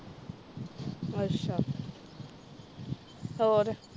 ਅੱਛਾ ਹੋਰ